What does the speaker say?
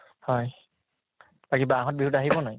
হয়, বাকী বাহত বিহুত আহিব নে নাই ?